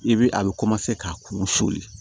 I bi a bɛ ka kuru suli